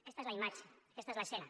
aquesta és la imatge aquesta és l’escena